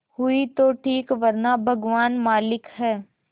हुई तो ठीक वरना भगवान मालिक है